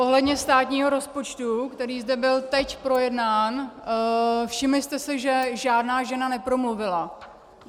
Ohledně státního rozpočtu, který zde byl teď projednán - všimli jste si, že žádná žena nepromluvila?